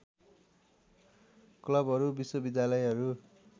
क्लबहरू विश्वविद्यालयहरू